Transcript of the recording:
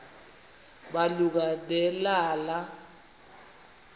malunga ne lala